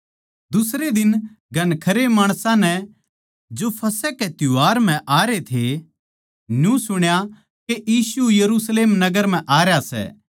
दुसरै दिन घणखरे माणसां नै जो फसह के त्यौहार म्ह आरे थे न्यू सुण्या के यीशु यरुशलेम नगर म्ह आरया सै